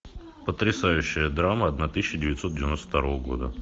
потрясающая драма одна тысяча девятьсот девяносто второго года